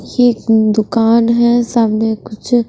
एक दुकान है सामने कुछ--